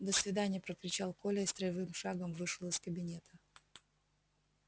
до свидания прокричал коля и строевым шагом вышел из кабинета